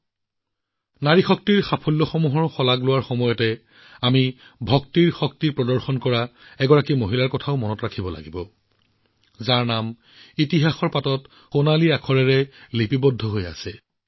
এই যুগত যেতিয়া তেওঁৰ এই কৃতিত্বৰ শলাগ লৈছে সকলোতে ভক্তি শক্তি প্ৰদৰ্শন কৰা এগৰাকী সন্ত নাৰীক আমি স্মৰণ কৰিব লাগিব যাৰ নাম ইতিহাসৰ সোণালী পৃষ্ঠাত লিপিবদ্ধ হৈ আছে